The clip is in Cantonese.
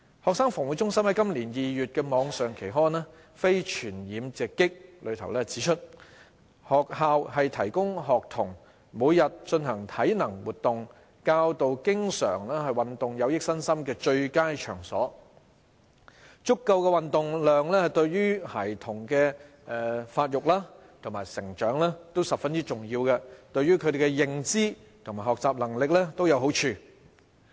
衞生防護中心在今年2月的網上期刊《非傳染病直擊》指出，學校是提供學童每天進行體能活動、教導經常運動有益身心的最佳場所；足夠的運動量對孩童的發育和成長均十分重要，對於他們的認知和學習能力也有好處。